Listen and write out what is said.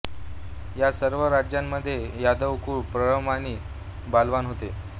या सर्व राज्यांमध्ये यादवकुळ प्रबळ आणि बलवान होते